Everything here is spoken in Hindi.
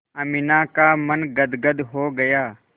अमीना का मन गदगद हो गया